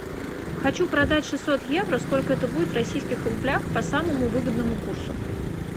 хочу продать шестьсот евро сколько это будет в российских рублях по самому выгодному курсу